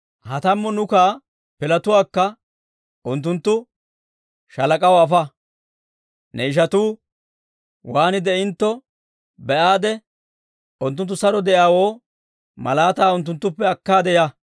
Ha tammu nukaa pilatuwaakka unttunttu shaalak'aw afa; ne ishatuu waan de'intto be'aade, unttunttu saro de'iyaawoo malaataa unttuttuppe akkaade ya.